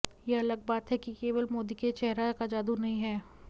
यह अलग बात है कि केवल मोदी के चेहरा का जादू नहीं है